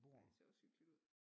Ej det ser også hyggeligt ud